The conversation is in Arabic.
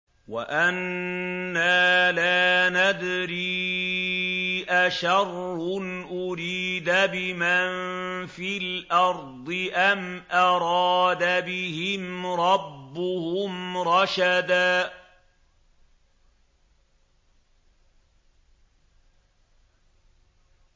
وَأَنَّا لَا نَدْرِي أَشَرٌّ أُرِيدَ بِمَن فِي الْأَرْضِ أَمْ أَرَادَ بِهِمْ رَبُّهُمْ رَشَدًا